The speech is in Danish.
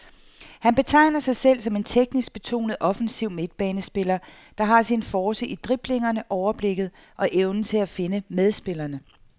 Han betegner sig selv som en teknisk betonet offensiv midtbanespiller, der har sin force i driblingerne, overblikket og evnen til at finde medspillerne.